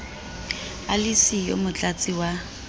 a le siyo motlatsi wa